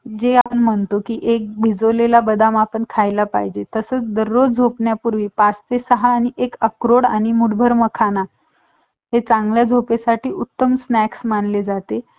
हम्म भेटला contact